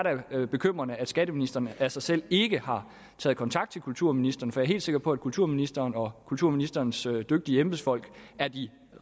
da bekymrende at skatteministeren af sig selv ikke har taget kontakt til kulturministeren for jeg er helt sikker på at kulturministeren og kulturministerens dygtige embedsfolk er de